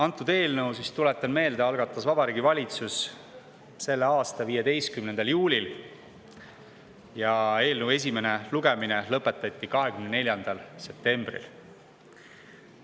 Antud eelnõu, tuletan meelde, algatas Vabariigi Valitsus selle aasta 15. juulil ja eelnõu esimene lugemine lõpetati 24. septembril.